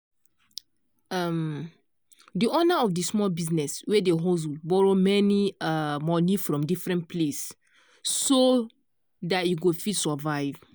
um di owner of di small business wey dey hustle borrow many um money from different place so da e go fit survive.